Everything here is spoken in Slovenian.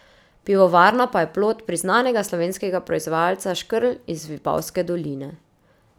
Pivovarna pa je plod priznanega slovenskega proizvajalca Škrlj iz Vipavske doline.